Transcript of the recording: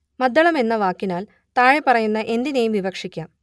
മദ്ദളം എന്ന വാക്കിനാൽ താഴെപ്പറയുന്ന എന്തിനേയും വിവക്ഷിക്കാം